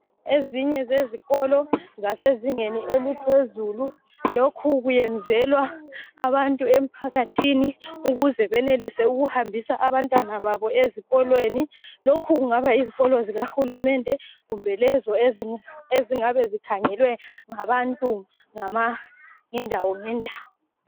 Ezinye zezikolo zasezingeni eliphezulu. Lokhu kuyenzelwa abantu emphakathini ukuze benelise ukuhambisa abantwana babo ezikolweni. Lokhu kungaba yizikolo zikahulumende kumbe lezo ezingabe zikhangelwe ngabantu ngendawongendawo.